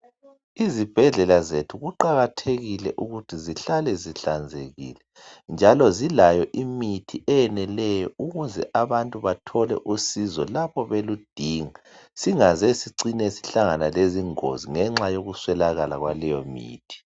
izibhedlela zethu kuqakathekile ukuthi zihlale zihlanzekile njalo zilayo imithi eyeneleyo ukuze abantu bathole usizo lapho beludinga singaze sihlangane lezingozi ngenxa yokuswelakala yaleyo mithi